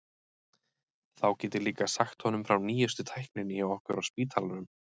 Þá get ég líka sagt honum frá nýjustu tækninni hjá okkur á spítalanum.